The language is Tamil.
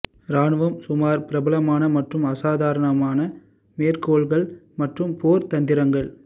ராணுவம் சுமார் பிரபலமான மற்றும் அசாதாரண மேற்கோள்கள் மற்றும் போர் தந்திரங்கள்